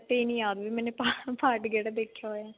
ਇਹ ਨਹੀਂ ਯਾਦ ਵੀ ਮੈਂ part ਕਿਹੜਾ ਦੇਖਿਆ